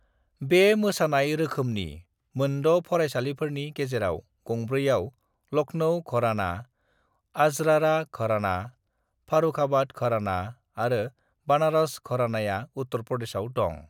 "बे मोसानाय रोखोमनि मोनद' फरायसालिफोरनि गेजेराव गंब्रैआव, लखनऊ घराना, अजरारा घराना, फरुखाबाद घराना आरो बनारस घरानाया उत्तर प्रदेशआव दं।"